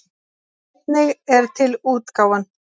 En einnig er til útgáfan